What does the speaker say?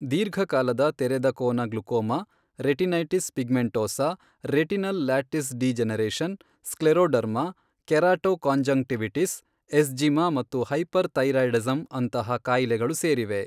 ದೀರ್ಘಕಾಲದ ತೆರೆದ ಕೋನ glaucoma, retinitis pigmentosa, retinal lattice degeneration, scleroderma, keratoconjunctivitis, eczema ಮತ್ತು ಹೈಪರ್ ಥೈರಾಯ್ಡಿಸಮ್ ಅಂತಹ ಕಾಯಿಲೆಗಳು ಸೇರಿವೆ.